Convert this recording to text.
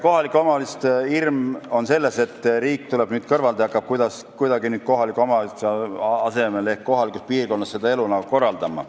Kohaliku omavalitsuste hirm on selles, et riik tuleb kõrvalt ja hakkab nüüd nende asemel ehk kohalikus piirkonnas kuidagi seda elu korraldama.